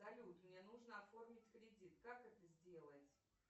салют мне нужно оформить кредит как это сделать